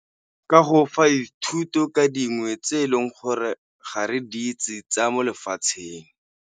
Ka go fa dithuto ka dingwe tse eleng gore ga re di itse tsa mo lefatsheng.